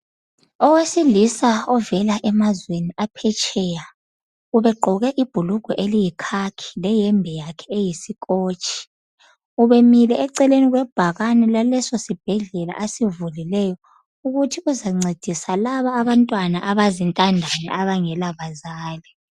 Owesilisa ovela emazweni aphetsheya ubegqoke ibhulugwe eliyikhakhi leyembe yakhe eyi"scotch".Ubemile eceleni kwebhakani laleso sibhedlela asivulileyo ukuthi uzancedisa laba abantwana abazintandane abangela bazali.